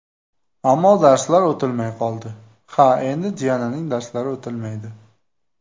Ammo darslari o‘tilmay qoldi... Ha, endi Diananing darslari o‘tilmaydi!